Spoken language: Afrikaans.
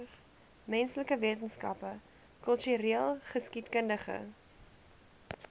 menslike wetenskappe kultureelgeskiedkundige